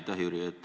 Aitäh, Jüri!